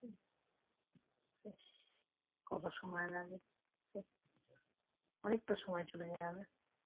কত সময় লাগে অনেকটা সময় চলে যায়